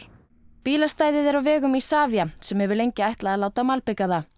bílastæðið er á vegum Isavia sem hefur lengi ætlað að láta malbika það